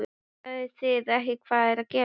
Sjáið þið ekki hvað er að gerast!